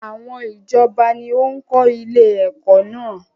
Àwọn ìjọba ni ó ń kọ́ ilé ẹ̀kọ́ náà.